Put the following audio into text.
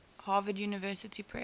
harvard university press